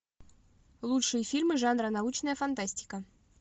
лучшие фильмы жанра научная фантастика